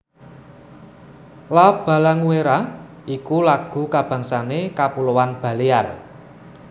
La Balanguera iku lagu kabangsané Kapuloan Balear